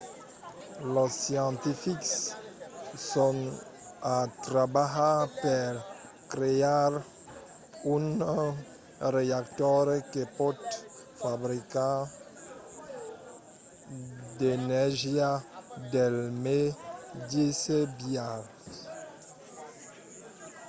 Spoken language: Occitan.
los scientifics son a trabalhar per crear un reactor que pòt fabricar d'energia del meteis biais